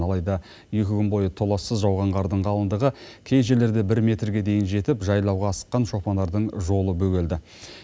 алайда екі күн бойы толассыз жауған қардың қалыңдығы кей жерлерде бір метрге дейін жетіп жайлауға асыққан шопандардың жолы бөгелді